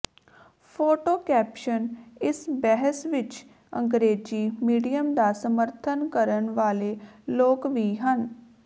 photo caption ਇਸ ਬਹਿਸ ਵਿੱਚ ਅੰਗਰੇਜ਼ੀ ਮੀਡੀਅਮ ਦਾ ਸਮਰਥਨ ਕਰਨ ਵਾਲੇ ਲੋਕ ਵੀ ਹਨ